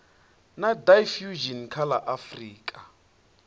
na diffusion kha la afrika